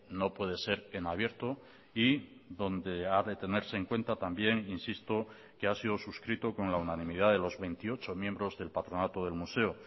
no puede ser en abierto y donde ha de tenerse en cuenta también insisto que ha sido suscrito con la unanimidad de los veintiocho miembros del patronato del museo